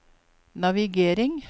navigering